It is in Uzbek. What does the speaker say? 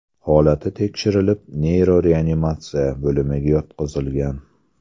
Holati tekshirilib neyroreanimatsiya bo‘limiga yotqizilgan.